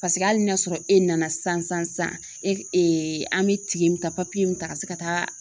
Paseke ali n'a sɔrɔ e nana sisan sisan sisan e ee an be tige min ta papiye min ta ka se ka taa